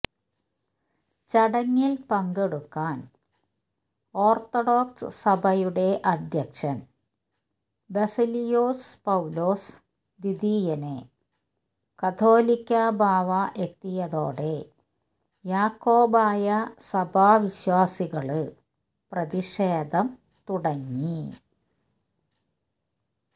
ചടങ്ങില് പങ്കെടുക്കാന് ഓര്ത്തഡോക്സ് സഭയുടെ അധ്യക്ഷന് ബസേലിയോസ് പൌലോസ് ദ്വീതീയന് കാതോലിക്ക ബാവ എത്തിയതോടെ യാക്കോബായ സഭാവിശ്വാസികള് പ്രതിഷേധം തുടങ്ങി